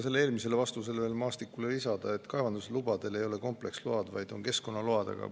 Sellele eelmisele vastusele, mis ma ütlesin Mart Maastikule, võiks lisada, et kaevandusload ei ole kompleksload, vaid on keskkonnaload.